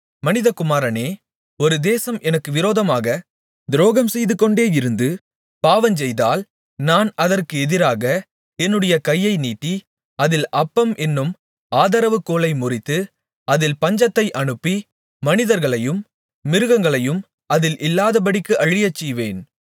மனிதகுமாரனே ஒரு தேசம் எனக்கு விரோதமாகத் துரோகம்செய்துகொண்டேயிருந்து பாவஞ்செய்தால் நான் அதற்கு எதிராக என்னுடைய கையை நீட்டி அதில் அப்பம் என்னும் ஆதரவுகோலை முறித்து அதில் பஞ்சத்தை அனுப்பி மனிதர்களையும் மிருகங்களையும் அதில் இல்லாதபடிக்கு அழியச்செய்வேன்